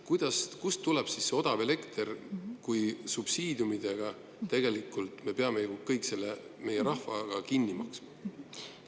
Kuidas ja kust tuleb siis see odav elekter, kui me peame rahvaga tegelikult subsiidiumide kaudu kõik selle ise kinni maksma?